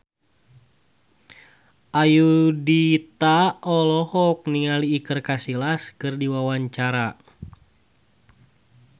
Ayudhita olohok ningali Iker Casillas keur diwawancara